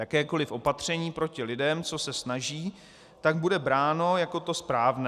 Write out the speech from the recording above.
Jakékoliv opatření proti lidem, co se snaží, tak bude bráno jako to správné.